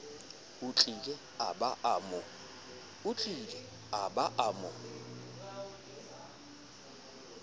otlile a ba a mo